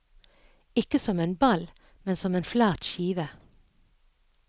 Ikke som en ball, men som en flat skive.